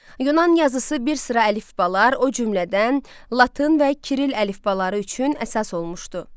Yunan yazısı bir sıra əlifbalar, o cümlədən Latın və Kiril əlifbaları üçün əsas olmuşdu.